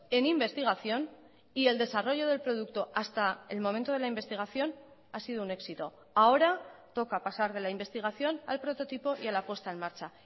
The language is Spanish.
en investigación y el desarrollo del producto hasta el momento de la investigación ha sido un éxito ahora toca pasar de la investigación al prototipo y a la puesta en marcha